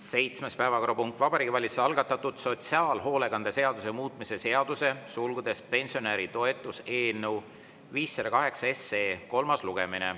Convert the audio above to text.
Seitsmes päevakorrapunkt: Vabariigi Valitsuse algatatud sotsiaalhoolekande seaduse muutmise seaduse eelnõu 508 kolmas lugemine.